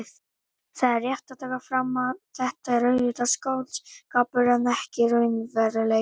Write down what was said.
Það er rétt að taka fram að þetta er auðvitað skáldskapur en ekki raunveruleiki.